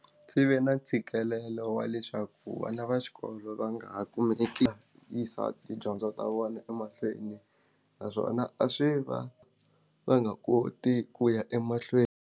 Swi ve na ntshikelelo wa leswaku vana va xikolo va nga ha kumeki ya yisa tidyondzo ta vona emahlweni naswona a swi va va nga koti ku ya emahlweni.